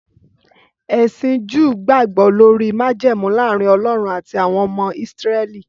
Ẹsìn Júù gbàgbọ́ lórí májẹ̀mú láàrin Ọlọ́run àti àwọn ọmọ Ísírẹ́lì